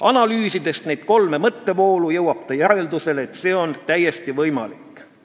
Analüüsides neid kolme mõttevoolu, jõuab ta järeldusele, et see on täiesti võimalik.